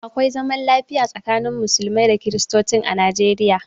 Akwai zaman lafiya tsakanin musulmai da kristocin a Nijeriya.